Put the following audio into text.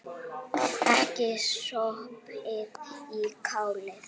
Ekki sopið í kálið.